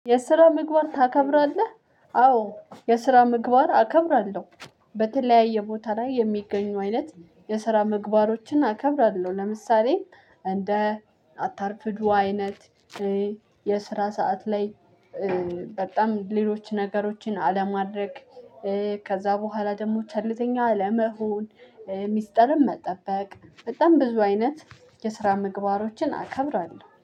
የስራ ምግባር ታከብራለህ? አዎ የስራ ምግባር አከብራለሁ። በተለያየ ቦታ ላይ የሚገኙ አይነት የስራ ምግባሮችን አከብራለሁ። ለምሳሌ እንደ አታርፍዱ አይነት- የስራ ሰዓት ላይ በጣም ሌሎች ነገሮችን አለማድረግ- ከዛ በኋላ ደግሞ ቸለልተኛ አለመሆን- ሚስጥርን መጠበቅ በጣም ብዙ አይነት የስራ ምግባሮችን አከብራለሁ።